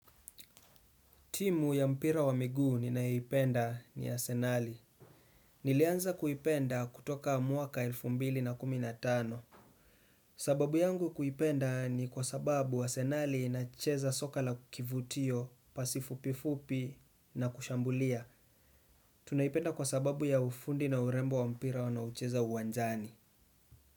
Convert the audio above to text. Timu ya mpira wa miguu ninaipenda ni arsenali. Nilianza kuipenda kutoka mwaka elfu mbili na kumi na tano. Sababu yangu kuipenda ni kwa sababu arsenali inacheza soka la kivutio, pasi fupifupi na kushambulia. Tunaipenda kwa sababu ya ufundi na urembo wa mpira wanaucheza uwanjani.